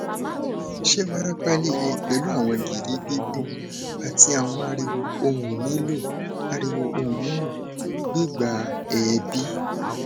ṣe warapa lile pẹlu awọn giri gbigbon ati awọn ariwo ohun nilo ariwo ohun nilo gbigba er bi